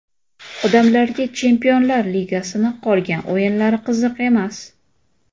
Odamlarga Chempionlar ligasining qolgan o‘yinlari qiziq emas.